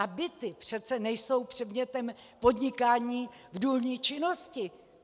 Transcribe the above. A byty přece nejsou předmětem podnikání v důlní činnosti.